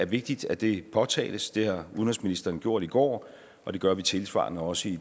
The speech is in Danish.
vigtigt at det påtales og det har udenrigsministeren gjort i går og det gør vi tilsvarende også i